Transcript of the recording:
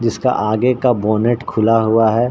जिसका आगे का बोनेट खुला हुआ है।